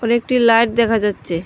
আর একটি লাইট দেখা যাচ্ছে।